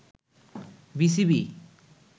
BCB